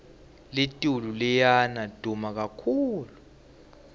litulu liya duma kakhulu